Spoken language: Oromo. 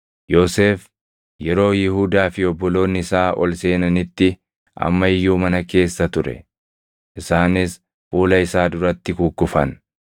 Yoosef yeroo Yihuudaa fi obboloonni isaa ol seenanitti amma iyyuu mana keessa ture; isaanis fuula isaa duratti kukkufan.